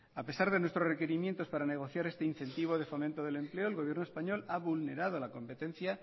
a pesar de nuestro requerimientos para negociar este incentivo de fomento del empleo el gobierno español ha vulnerado la competencia